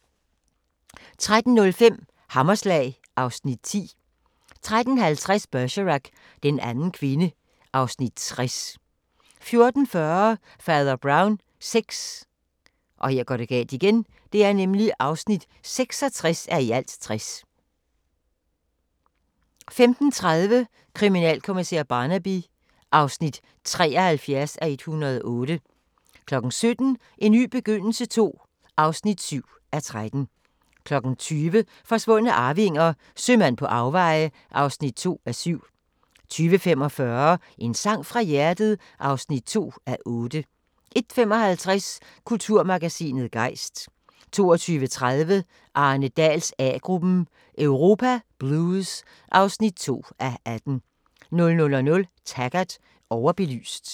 13:05: Hammerslag (Afs. 10) 13:50: Bergerac: Den anden kvinde (Afs. 60) 14:40: Fader Brown VI (66:60) 15:30: Kriminalkommissær Barnaby (73:108) 17:00: En ny begyndelse II (7:13) 20:00: Forsvundne arvinger: Sømand på afveje (2:7) 20:45: En sang fra hjertet (2:8) 21:55: Kulturmagasinet Gejst 22:30: Arne Dahls A-gruppen: Europa Blues (2:18) 00:00: Taggart: Overbelyst